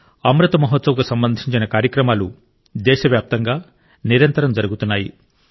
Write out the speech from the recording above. అమృత్ మహోత్సవ్కు సంబంధించిన కార్యక్రమాలు దేశవ్యాప్తంగా నిరంతరం జరుగుతున్నాయి